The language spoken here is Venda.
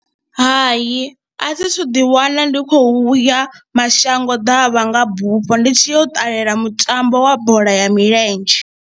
Ha, i a thi thu ḓiwana ndi khou ya mashango ḓavha nga bufho ndi tshi ya u ṱalela mutambo wa bola ya milenzhe.